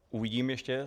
Uvidím ještě.